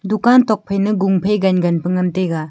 dukan tuakphai ma gun phai gan gan ngan taiga.